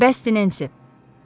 Bəsdir, Nensi!